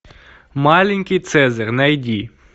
маленький цезарь найди